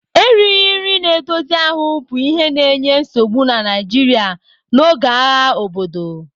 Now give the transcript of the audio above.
Erighị nri na-edozi ahụ bụ ihe na-enye nsogbu na Nigeria n'oge agha obodo.